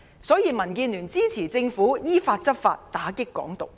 所以，民建聯支持政府依法執法，打擊"港獨"。